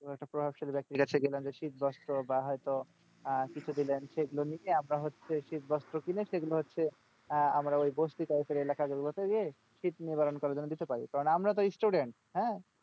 কয়েকটা প্রভাবশালী ব্যক্তির কাছে গেলাম যে শীতবস্ত্র বা হয়তো আহ কিছু দিলেন সেইগুলো নিয়ে আমরা হচ্ছে শীতবস্ত্র কিনে সেগুলো হচ্ছে আহ আমরা ওই বস্তি type এর এলাকাগুলোতে গিয়ে শীত নিবারণ করার জন্য কিছু পাই। কারণ আমরা তো student হ্যাঁ,